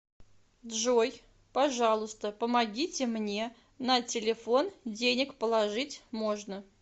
джой пожалуйста помогите мне на телефон денег положить можно